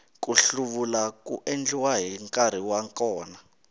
ku hluvula ku endliwa hi nkarhi wa kona